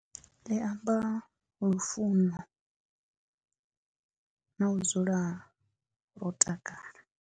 Ḽi amba lufuno na u dzula ro takala.